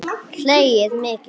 Hlegið mikið.